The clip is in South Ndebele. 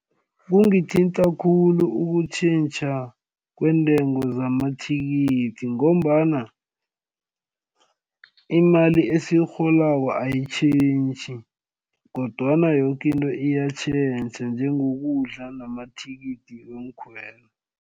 Kungithinta khulu ukutjhentjha kweentengo zamathikithi ngombana, imali esiyirholako ayitjhentjhi kodwana yoke into iyatjhentjha njengokudla namathikithi weenkhwelo.